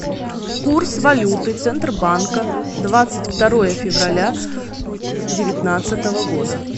курс валюты центробанка двадцать второе февраля девятнадцатого года